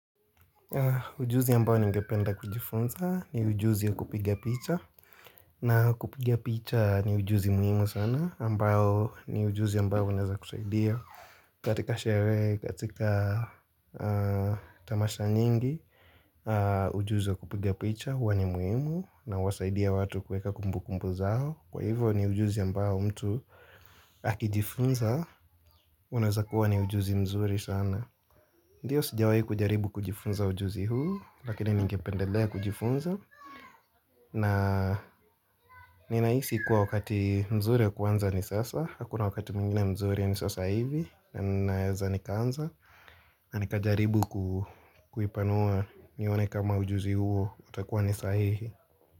Ujuzi ambao ningependa kujifunza ni ujuzi ya kupigia picha na kupigia picha ni ujuzi muhimu sana ambao ni ujuzi ambao unaweza kusaidia katika sherehe katika tamasha nyingi ujuzi ya kupigia picha huwa ni muhimu na wasaidia watu kueka kumbu kumbu zao kwa hivyo ni ujuzi ambao mtu akijifunza unaweza kuwa ni ujuzi mzuri sana Ndiyo sijawahi kujaribu kujifunza ujuzi huu, lakini ningependelea kujifunza na ninahisi kuwa wakati mzuri ya kuanza ni sasa, hakuna wakati mwingine mzuri ni sasa hivi na ninaeza nikaanza, na nikajaribu ku kuipanua nione kama ujuzi huu utakuwa ni sahihi.